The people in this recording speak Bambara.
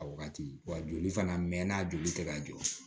A wagati wa joli fana mɛ n'a joli tɛ ka jɔ